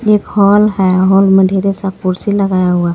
एक हॉल हे हॉल मे ढेरेसा खुर्सी लगाया हुआ हे.